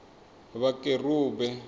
vhakerube